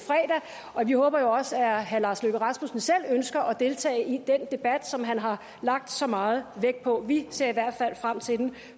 vi håber jo også at herre lars løkke rasmussen selv ønsker at deltage i den debat som han har lagt så meget vægt på vi ser i hvert fald frem til den